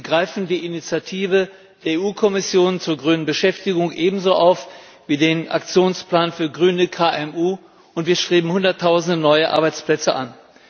Wir greifen die Initiative der EU Kommission zur grünen Beschäftigung ebenso auf wie den Aktionsplan für grüne KMU, und wir streben hunderttausende neue Arbeitsplätze an.